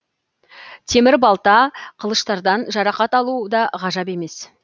темір балта қылыштардан жарақат алу да ғажап емес